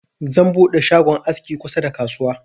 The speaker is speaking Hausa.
Zan buɗe shagon aski kusa da kasuwa.